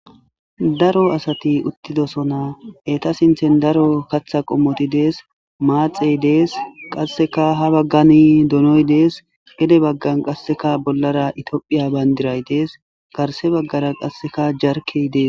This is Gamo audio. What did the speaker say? Daro asati uttidosona eta sinthen daro katha qommoti dees maaxey dees qasseka ha baggani donoy dees gede baggan qasseka bollara itiophiya bayndiray dees garse baggara qasseka jarkey dees